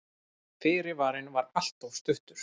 Fyrirvarinn var alltof stuttur.